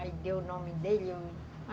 Aí deu o nome dele.